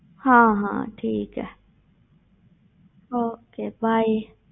ਹਾਂ ਹਾਂ ਠੀਕ ਹੈ okay bye